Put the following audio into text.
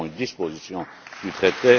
nous avons une disposition du traité.